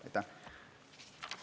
Aitäh!